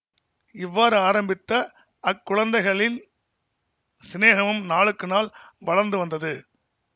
இவ்வாறு ஆரம்பித்த அக்குழந்தைகளின் சிநேகமும் நாளுக்கு நாள் வளர்ந்து வந்தது